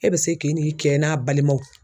E bɛ se k'i n'i kɛ n'a balimaw